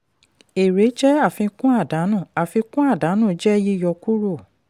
èrè jẹ́ àfikún àdánù àfikún àdánù jẹ́ yíyọ kúrò.